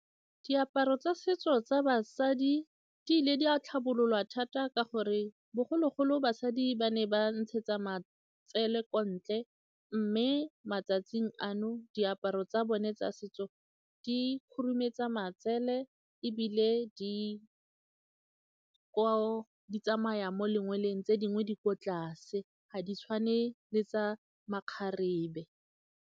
Diaparo tsa setso tsa basadi di ile di a tlhabololwa thata ka gore bogologolo basadi ba ne ba ntshetsa matsele ko ntle mme matsatsing ano diaparo tsa bone tsa setso di khurumetsa matsele ebile di tsamaya mo lengweleng tse dingwe di ko tlase ga di tshwane le tsa makgarebe.